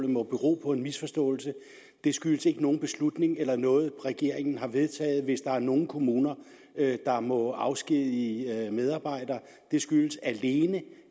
må bero på en misforståelse det skyldes ikke nogen beslutning eller noget regeringen har vedtaget hvis der er nogen kommuner der må afskedige medarbejdere det skyldes alene